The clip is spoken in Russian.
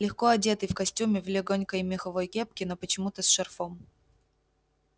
легко одетый в костюме в лёгонькой меховой кепке но почему-то с шарфом